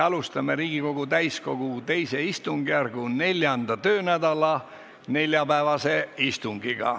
Alustame Riigikogu täiskogu II istungjärgu 4. töönädala neljapäevast istungit.